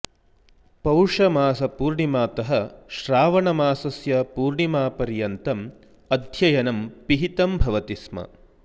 पौष मास पूर्णिमातः श्रावण मासस्य पूर्णिमापरियन्तं अध्ययनं पिहितं भवति स्म